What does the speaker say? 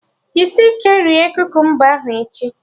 Jisie ike rie kukumba ahụ echi!